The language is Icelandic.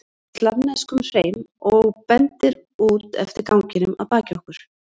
um slavneskum hreim og bendir út eftir ganginum að baki okkur.